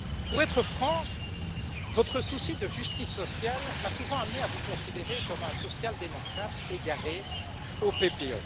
Pour être franc, votre souci de justice sociale m'a souvent amené à vous considérer comme un social démocrate égaré dans le groupe du PPE.